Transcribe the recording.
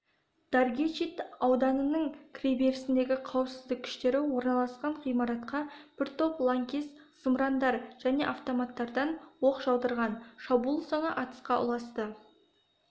даргечит ауданының кіреберісіндегі қауіпсіздік күштері орналасқан ғимаратқа бір топ лаңкес зымырандар және автоматтардан оқ жаудырған шабуыл соңы атысқа ұласты